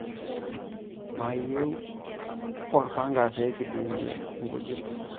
Maiyo olpanga pee kidungie nkujit.